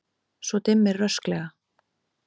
Svo dimmir rösklega.